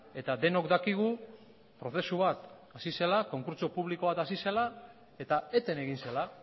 eta denok dakigu prozesu bat hasi zela konkurtso publiko bat hasi zela eta eten egin zela